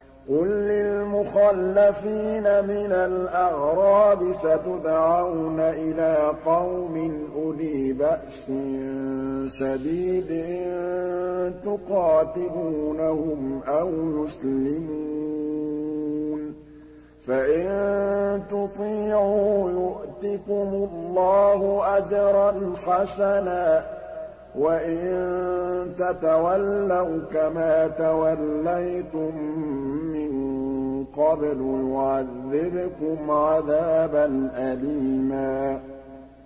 قُل لِّلْمُخَلَّفِينَ مِنَ الْأَعْرَابِ سَتُدْعَوْنَ إِلَىٰ قَوْمٍ أُولِي بَأْسٍ شَدِيدٍ تُقَاتِلُونَهُمْ أَوْ يُسْلِمُونَ ۖ فَإِن تُطِيعُوا يُؤْتِكُمُ اللَّهُ أَجْرًا حَسَنًا ۖ وَإِن تَتَوَلَّوْا كَمَا تَوَلَّيْتُم مِّن قَبْلُ يُعَذِّبْكُمْ عَذَابًا أَلِيمًا